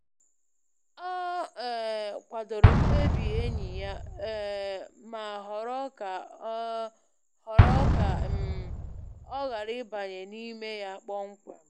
Ọ um kwadoro mkpebi enyi ya, um ma họrọ ka um họrọ ka um ọ ghara ịbanye n’ime ya kpọmkwem.